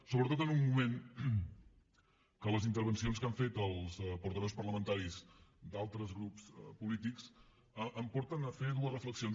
sobretot en un moment en què les intervencions que han fet els portaveus parlamentaris d’altres grups polítics em porten a fer dues reflexions